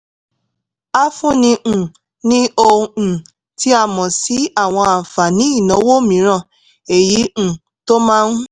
a fúnni um ní ohun um tí a mọ̀ sí àwọn àǹfààní ìnáwó mìíràn èyí um tó máa ń